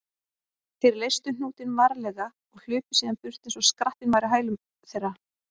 Þeir leystu hnútinn varlega og hlupu síðan burt eins og skrattinn væri á hælum þeirra.